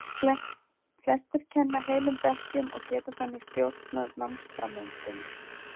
Flestir kenna heilum bekkjum og geta þannig stjórnað námsframvindunni.